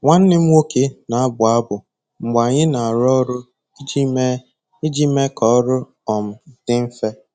Nwanne m nwoke na-abụ abụ mgbe anyị na-arụ ọrụ iji mee iji mee ka ọrụ um dị mfe.